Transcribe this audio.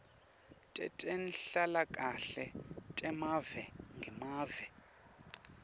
tetenhlalakahle temave ngemave